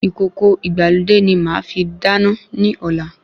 Ìkòkò ìgbàlódé ni màá fi dáná ní ọ̀la